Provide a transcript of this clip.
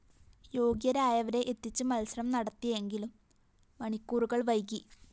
യോഗ്യരായവരെ എത്തിച്ച് മത്സരം നടത്തിയെങ്കിലും മണിക്കൂറുകള്‍ വൈകി